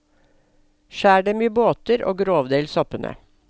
Skjær dem i båter og grovdel soppene.